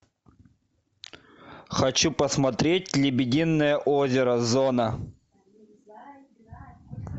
хочу посмотреть лебединое озеро зона